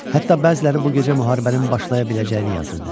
Hətta bəziləri bu gecə müharibənin başlaya biləcəyini yazırdı.